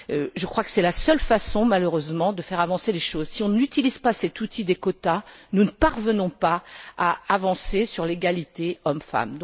Je crois que c'est la seule façon malheureusement de faire avancer les choses. Si on n'utilise pas cet outil des quotas, nous ne parvenons pas à faire progresser l'égalité hommes femmes.